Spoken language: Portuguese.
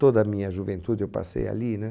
Toda a minha juventude eu passei ali, né?